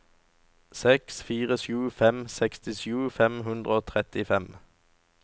seks fire sju fem sekstisju fem hundre og trettifem